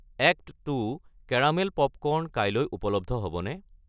Act two caramel popcorn কাইলৈ উপলব্ধ হ'বনে?